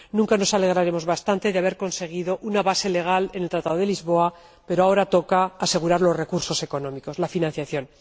Nunca nos alegraremos bastante de haber conseguido una base legal en el Tratado de Lisboa, pero ahora toca asegurar los recursos económicos, la financiación.